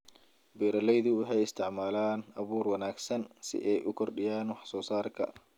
Beeraleydu waxay isticmaalaan abuur wanaagsan si ay u kordhiyaan wax-soo-saarka.